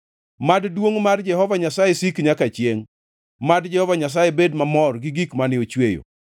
Mad duongʼ mar Jehova Nyasaye sik nyaka chiengʼ; mad Jehova Nyasaye bed mamor gi gik mane ochweyo.